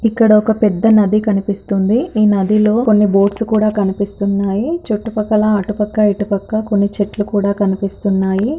ఇక్కడొక పెద్ద నది కనిపిస్తూ ఉంది ఈ నదిలో కొన్ని బోట్సు కూడా కనిపిస్తున్నాయి చుట్టూ పక్కల అటుపక్క ఇటుపక్క కొన్ని చెట్లు కూడా కనిపిస్తున్నాయి.